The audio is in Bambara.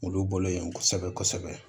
Olu bolo yen kosɛbɛ kosɛbɛ